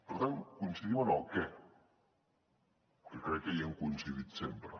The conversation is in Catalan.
per tant coincidim en el què que crec que hi hem coincidit sempre